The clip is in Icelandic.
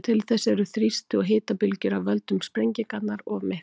Til þess eru þrýsti- og hitabylgjur af völdum sprengingarinnar of miklar.